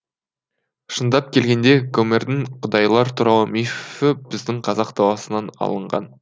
шындап келгенде гомердің құдайлар туралы мифі біздің қазақ даласынан алынған